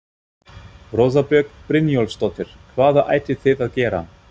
Rósa Björg Brynjólfsdóttir: Hvað ætlið þið að gera?